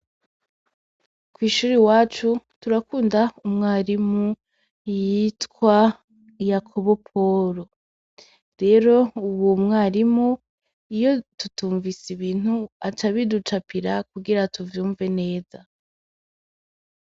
Kw'ishure iwacu turakunda umwarimu yitwa Yakobo Poro. Reo uwo mwarimu iyo tutumvise ibintu aca ibiducapira kugira tuvyumve neza.